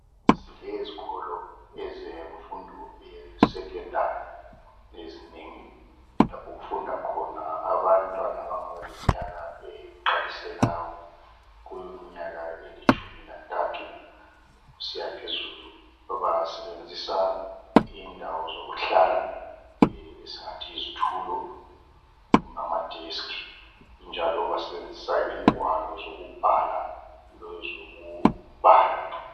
Silezikolo ezemfundo yesecondary, ezinengi lapho okufunda khona abantwana abangaba leminyaka eqalisela kumnyaka elitshumi lantathu kusiya phezulu. Basebenzisa indawo zokuhlala esingathi yizitulo kumbe amadesk njalo basebenzisa ingwalo zokubhala lezokubala.